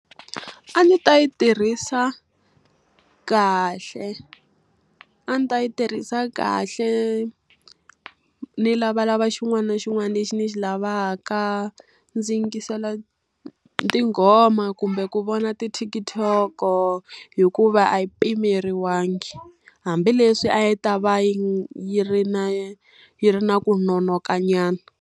A ndzi ta yi tirhisa kahle. A ndzi ta yi tirhisa kahle, ni lavalava xin'wana na xin'wana lexi ndzi xi lavaka, ndzi yingisela tinghoma kumbe ku vona ti TikTok-o hikuva a yi pimeriwangi. Hambileswi a yi ta va yi yi ri na yi ri na ku nonokanyana.